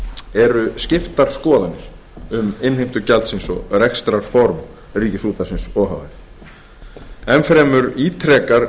eru skiptar skoðanir um innheimtu gjaldsins og rekstrarform ríkisútvarpsins o h f enn fremur ítrekar